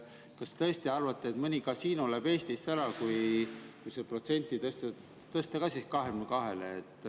Kas te tõesti arvate, et mõni kasiino läheb Eestist ära, kui see protsent tõsta ka 22-le?